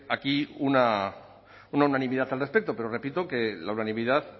aquí una unanimidad al respecto pero repito que la unanimidad